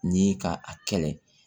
Ni ka a kɛlɛ